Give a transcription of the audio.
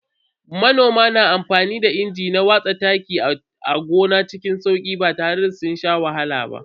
Manomai na amfani da inji na watsa taki a gona cikin sauki ba tare da sun sha wahala ba.